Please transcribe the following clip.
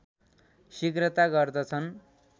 शिघ्रता गर्दछन्